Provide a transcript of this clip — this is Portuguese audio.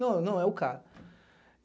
Não, não, é o cara.